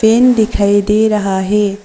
Fan दिखाई दे रहा है।